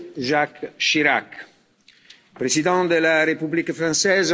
Jacques Chirac, président de la République française.